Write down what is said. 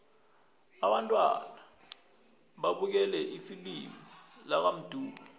abantwana babukele ifilimu lakamdu